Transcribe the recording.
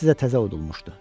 İkisi də təzə udulmuşdu.